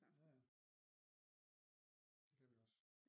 Ja ja det kan vi også